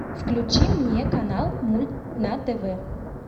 включи мне канал мульт на тв